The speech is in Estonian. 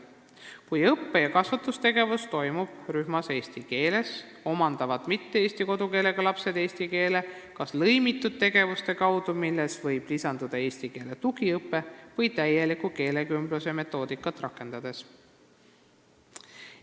Kui õppe- ja kasvatustegevus rühmas toimub eesti keeles, omandavad mitte-eesti kodukeelega lapsed eesti keele kas lõimitud tegevuste kaudu, millesse võib lisanduda eestikeelne tugiõpe, või täieliku keelekümbluse metoodikat rakendades.